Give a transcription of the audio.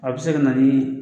A bɛ se ka na ni